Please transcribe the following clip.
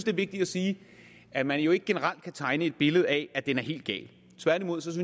er vigtigt at sige at man jo ikke generelt kan tegne et billede af at den er helt gal tværtimod synes